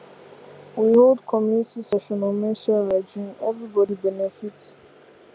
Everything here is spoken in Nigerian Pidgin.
we hold community session on menstrual hygiene everybody benefit